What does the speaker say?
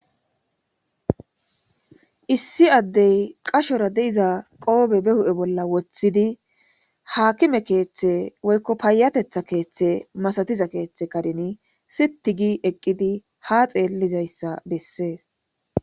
issi addey qashora de'iza qoobe be hu7e bolla woththidi haakime keeththe woykko payatetha keeththe masatiza keeththe kadeni siti gi eqqidi ha xeellizayssa bessees